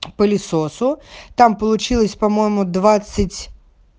пылесосу там получилось по-моему двадцать